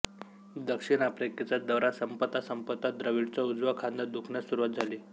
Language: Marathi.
दक्षिण आफ्रिकेचा दौरा संपता संपता द्रविडचा उजवा खांदा दुखण्यास सुरवात झाली